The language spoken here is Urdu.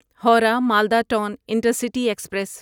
Howrah Malda town intercity express